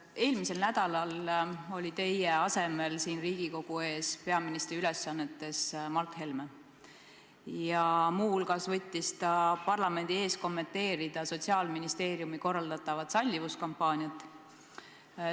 Eelmisel nädalal oli teie asemel siin Riigikogu ees peaministri ülesannetes Mart Helme ja muu hulgas võttis ta parlamendi ees kommenteerida Sotsiaalministeeriumi korraldatavat sallivuskampaaniat.